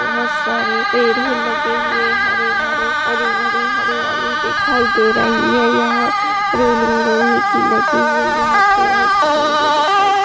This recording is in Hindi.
बहोत सारे पेड़े ही लगे हुए हरे-भरे हरी-भरी हरियाली दिखाई दे रही हैं यहाँ रैलिंग लोहे की लगी हुई हैं यहाँ पे पेड़े चढ़े हुए दिखाई--